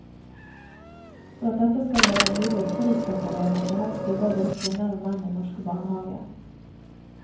For at dette skal være mulig forutsetter jeg at det helst jobber både kvinner og menn i norske barnehager.